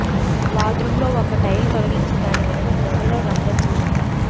బాత్రూంలో ఒక టైల్ తొలగించి దాని వెనుక గోడలో రంధ్రం చేయండి